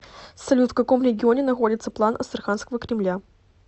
салют в каком регионе находится план астраханского кремля